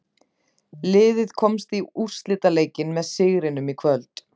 Liðið komst í úrslitaleikinn með sigrinum í kvöld.